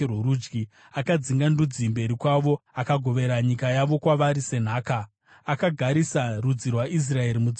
Akadzinga ndudzi mberi kwavo, akagovera nyika yavo kwavari senhaka; akagarisa rudzi rwaIsraeri mudzimba dzavo.